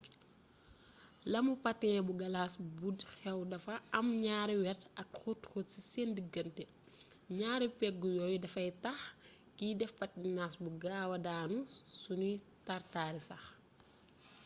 lamu patin bu galas bu xew dafa am ñaari wet ak xóot xóot ci seen diggante ñaari pegg yooyu dafay tax kiy def patinas bu gaawaa daanu suñuy tar-tari sax